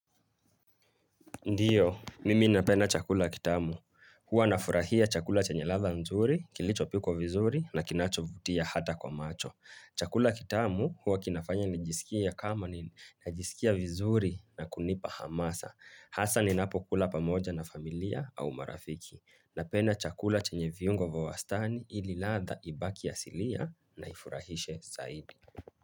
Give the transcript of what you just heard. Ndiyo, mimi napenda chakula kitamu, huwa nafurahia chakula chenye ladha nzuri, kilichopikwa vizuri na kinachovutia hata kwa macho Chakula kitamu huwa kinafanya nijisikie kama ni najisikia vizuri na kunipa hamasa. Hasa ninapokula pamoja na familia au marafiki. Napenda chakula chenye viungo vya wastani ili ladha ibaki asilia na ifurahishe zaidi.